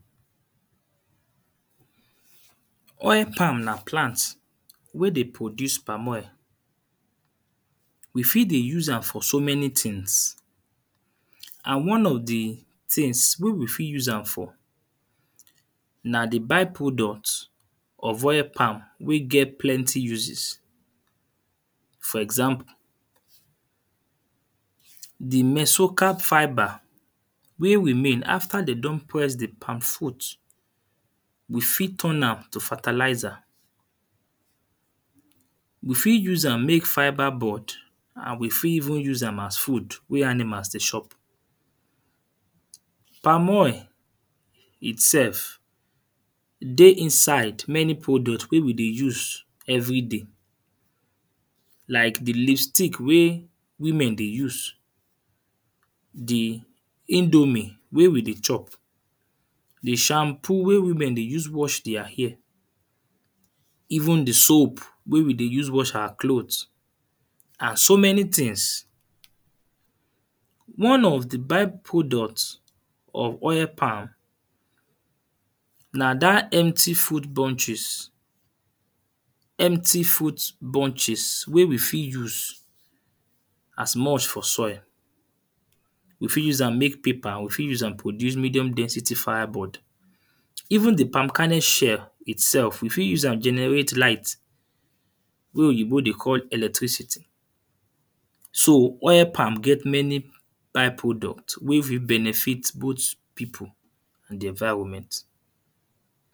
Oil palm na plant wey dey produce palm oil. We fit dey use am for so many things and one of the things wey we fit use am for na the by-product of oil palm wey get plenty uses. For example, the mesocao fiber wey remain after they don poist the palm fruit. You fit turn am to fertilizer. You fit use am make fiber board and we fit even use am as food wey animal dey chop. Palm oil itself dey inside many product wey we dey use everyday. Like the lipstick wey women dey use. The indomie wey we dey chop. The shampoo wey women dey use wash their hair. Even the soap wey we dey use wash our cloth as so many things. One of the by-product of oil palm, na dat empty fruit bunches. Empty fruit bunches wey we fit use as moist for soil. You fit use am make paper or you fit use am produce medium dentity fire board. Even the palm kernel shell itself, you fit use am generate light wey Oyinbo dey call electricity. So oil palm get many by-product wey fit benefit both people and the environment.